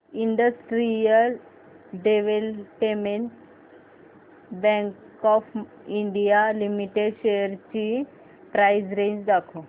industrial development bank of India limited shares ची price range दाखव